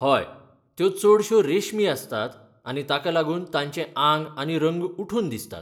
हय, त्यो चडश्यो रेशमी आसतात आनी ताका लागून तांचें आंग आनी रंग उठून दिसतात.